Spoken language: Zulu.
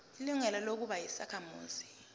ilungelo lokuba yisakhamuzi